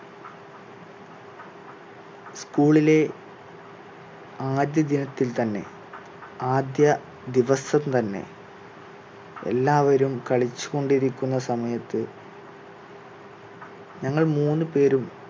school ിലേ ആദ്യ ദിനത്തിൽ തന്നെ ആദ്യ ദിവസം തന്നെ എല്ലാവരും കളിച്ചുകൊണ്ടിരിക്കുന്ന സമയത്ത് ഞങ്ങൾ മൂന്ന് പേരും